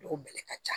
Dugu bɛlɛ ka ca